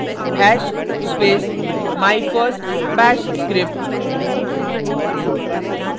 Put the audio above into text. hash space my first bash script